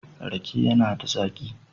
Rake yana da zaƙi.